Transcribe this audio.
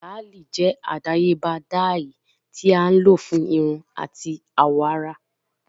Làáli jẹ adayeba dye ti a lo fun irun ati awọ ara.